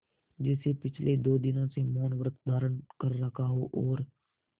जैसे पिछले दो दिनों से मौनव्रत धारण कर रखा हो और